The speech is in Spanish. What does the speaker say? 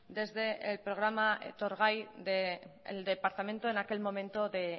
desde el programa etorgai del departamento en aquel momento de